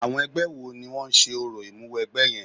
Àwọn ẹgbẹ́ wo ni wọ́n ń ṣe orò Ìmúwẹgbẹ́ yẹn?